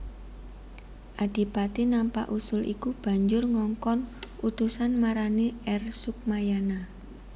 Adipati nampa usul iku banjur ngongkon utusan marani R Sukmayana